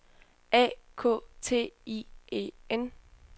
A K T I E N